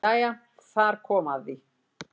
Jæja þar kom að því!